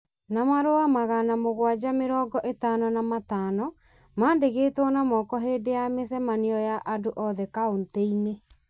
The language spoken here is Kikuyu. na marũa magana mũgwanja mĩrongo ĩtano na matano maandĩkĩtwo na moko hĩndĩ ya mĩcemanio ya andũ othe kauntĩ-inĩ.